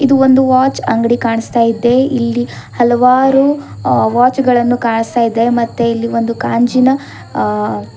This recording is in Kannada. ಇದು ಒಂದು ವಾಚ್ ಅಂಗಡಿ ಕಾಣಿಸ್ತಾ ಇದೆ ಇಲ್ಲಿ ಹಲವಾರು ವಾಚ್ ಗಳನ್ನು ಕಾಣಸ್ತಾ ಇದೆ ಮತ್ತೆ ಇಲ್ಲಿ ಒಂದು ಕಾಂಚಿನ ಅ--